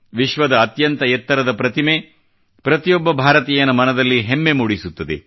ವಿಶ್ವದ ಅತ್ಯಂತ ಎತ್ತರದ ಪ್ರತಿಮೆಯು ಪ್ರತಿಯೊಬ್ಬ ಭಾರತೀಯನ ಮನದಲ್ಲಿ ಹೆಮ್ಮೆ ಮೂಡಿಸುತ್ತದೆ